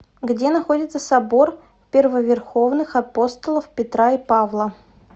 где находится собор первоверховных апостолов петра и павла